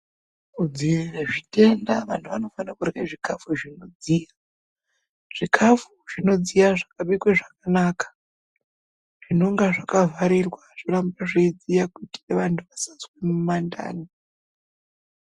Kudziirire zvitenda vanhu vanofana kurya zvikafu zvinodziya. Zvikafu zvinodziya zvakabikwe zvakanaka zvinonga zvakavharirwa zvoramba zveidziya kuitira vanhu vasazwa mundani.